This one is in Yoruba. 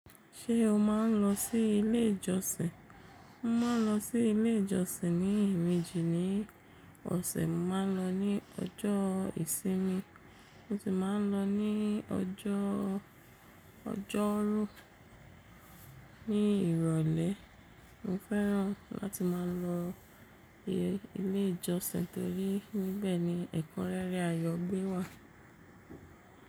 Ṣé o máa ń lọ sí ilé ìjọsìn? Mo máa ń lọ sí ilé ìjọsìn ní e mejì ni ọ̀sẹ̀. Mo máa ń lọ ní ọjọ́ ìsinmi mo sì máa ń lọ ní ọjọ́ ọjọ́rú ní ìrọ̀lẹ́. Mo fẹ́ràn láti máa lọ ilé ìjọsìn torí níbẹ̀ ni ẹ̀kọ́ rere ayọ̀ gbé wà.